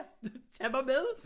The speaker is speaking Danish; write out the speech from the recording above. Tag mig med